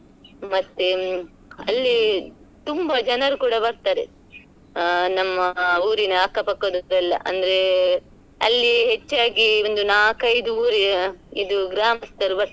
ಮತ್ತೆ ಅಲ್ಲಿತುಂಬಾ ಜನರು ಕೂಡ ಬರ್ತಾರೆ ಆ ನಮ್ಮ ಊರಿನ ಅಕ್ಕ ಪಕ್ಕದುದ್ದೆಲ್ಲಾ ಅಂದ್ರೆ ಅಲ್ಲಿಹೆಚ್ಚಾಗಿ ಒಂದು ನಾಕ್ ಐದು ಊರಿ~ ಇದು ಗ್ರಾಮಸ್ಥರು ಬರ್ತಾರೆ.